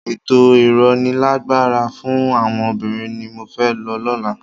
Ètò ìrónilágbára fún àwọn obìnrin ni mo fẹ́ lọ lọ́la.